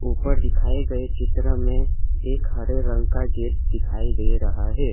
ऊपर दिखाए गए चित्र में एक हरे रंग का गेट दिखाई दे रहा है।